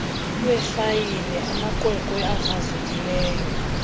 lwefayile amaqweqwe akrazukileyo